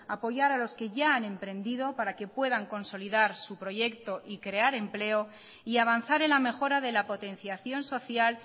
apoyar a los que ya han emprendido para que puedan consolidar su proyecto y crear empleo y avanzar en la mejora de la potenciación social